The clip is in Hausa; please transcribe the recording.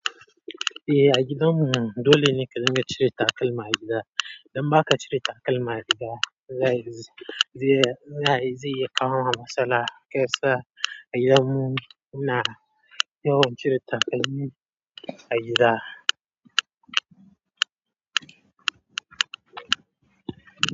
Eh, a gidanmu dole ne ka dinga cire takalman a gida. Idan ba ka cire takalma a gida, zai zai zai iya kawo ma matsala. Gaskiya a gidanmu ina yawan cire takalmi a gida.